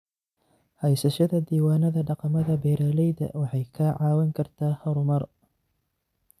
Haysashada diiwaanada dhaqamada beeralayda waxay kaa caawin kartaa horumar.